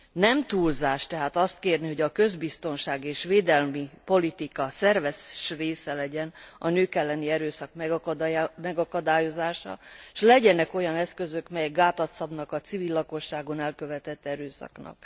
Nem túlzás tehát azt kérni, hogy a közbiztonság és védelmi politika szerves része legyen a nők elleni erőszak megakadályozása, s legyenek olyan eszközök, melyek gátat szabnak a civil lakosságon elkövetett erőszaknak.